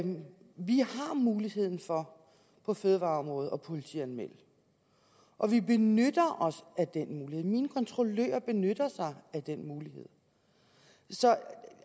vi har muligheden for på fødevareområdet at politianmelde og vi benytter os af den mulighed mine kontrollører benytter sig af den mulighed